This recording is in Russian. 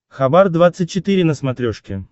хабар двадцать четыре на смотрешке